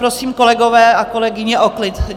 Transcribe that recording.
Prosím, kolegové a kolegyně, o klid.